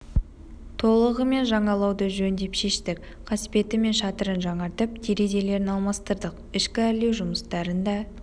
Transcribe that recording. толығымен жаңалауды жөн деп шештік қасбеті мен шатырын жаңартып терезелерін алмастырдық ішкі әрлеу жұмыстарын да